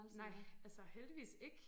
Nej altså heldigvis ikke